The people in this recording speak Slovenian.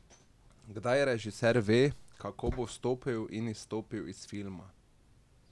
Kdaj režiser ve, kako bo vstopil in izstopil iz filma?